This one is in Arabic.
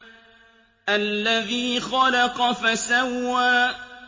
الَّذِي خَلَقَ فَسَوَّىٰ